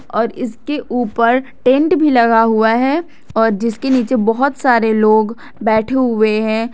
और इसके ऊपर टेंट भी लगा हुआ है और जिसके नीचे बहुत सारे लोग बैठे हुए हैं।